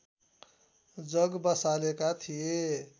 जग बसालेका थिए